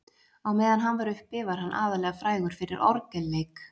á meðan hann var uppi var hann aðallega frægur fyrir orgelleik